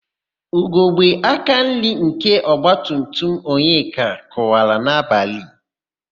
Ugogbe akanri nke ọgbatumtum Onyeka kụwara n'abalị.